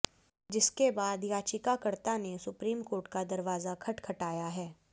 जिसके बाद याचिकाकर्ता ने सुप्रीम कोर्ट का दरवाजा खटखटाया है